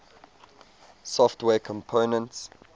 software components